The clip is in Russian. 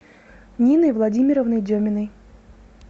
ниной владимировной деминой